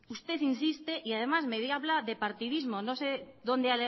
usted insiste y además me habla de partidismo no sé dónde